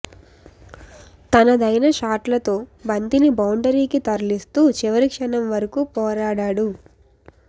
తనదైన షాట్లతో బంతిని బౌండరీకి తరలిస్తూ చివరి క్షణం వరకు పోరాడాడు